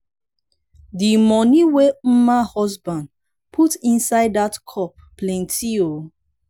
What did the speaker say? the money wey mma husband put inside dat cup plenty oo.